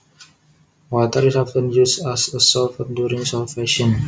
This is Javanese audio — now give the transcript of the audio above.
Water is often used as a solvent during solvation